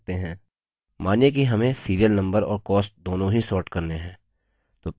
मानिए कि हमें serial नम्बर और cost दोनों ही sort करने हैं